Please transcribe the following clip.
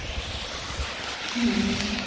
ହମ୍